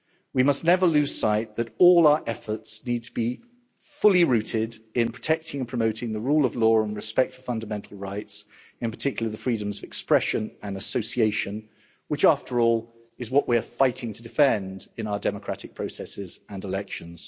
We must never lose sight that all our efforts need to be fully rooted in protecting and promoting the rule of law and respect for fundamental rights, in particular the freedoms of expression and association, which after all is what we are fighting to defend in our democratic processes and elections.